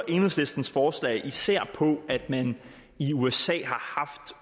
enhedslistens forslag især på at man i usa